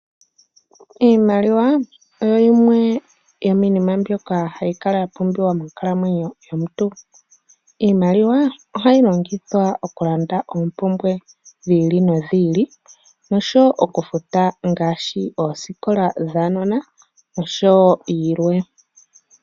Iimaliwa oyo yimwe yomiinima mbyoka hayi kala yapumbiwa monkalamwenyo yomuntu. Iimaliwa ohayi longithwa okulanda oompumbwe dhili nodhili noshowoo okufuta ngaashi oosikola dhaanona noshowoo yilwe.